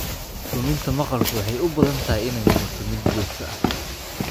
Luminta maqalku waxay u badan tahay inay noqoto mid joogto ah.